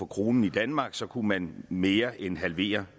krone i danmark så kunne man mere end halvere